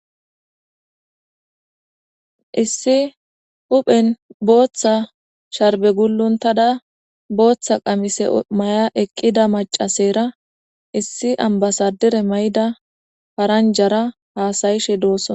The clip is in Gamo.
Issi huphen booththa sharbe guluntada booththa qamise maya eqqida macasera issi ambasadere may7ida paranjara haasayishe doosona.